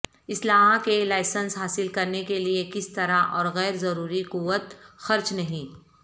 اسلحہ کے لائسنس حاصل کرنے کے لئے کس طرح اور غیر ضروری قوت خرچ نہیں